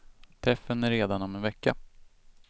Träffen är redan om en vecka.